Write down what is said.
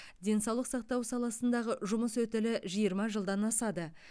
денсаулық сақтау саласындағы жұмыс өтілі жиырма жылдан асады